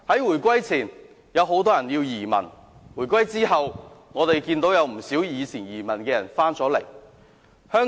回歸前，有很多人移民；回歸後，不少昔日移民外國的人已回流香港。